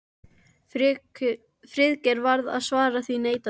Friðrik varð að svara því neitandi.